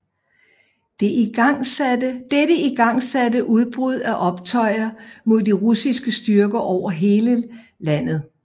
Dette igangsatte udbrud af optøjer mod de russiske styrker over hele lanet